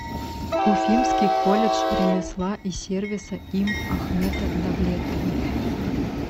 уфимский колледж ремесла и сервиса им ахмета давлетова